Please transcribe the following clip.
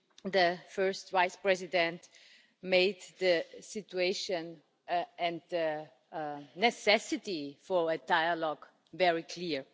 The First Vice-President made the situation and the necessity for a dialogue very clear.